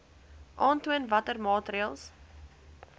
aantoon watter maatreëls